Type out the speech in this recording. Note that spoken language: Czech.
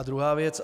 A druhá věc.